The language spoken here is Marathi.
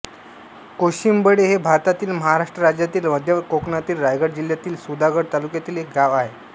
कोशिंबळे हे भारतातील महाराष्ट्र राज्यातील मध्य कोकणातील रायगड जिल्ह्यातील सुधागड तालुक्यातील एक गाव आहे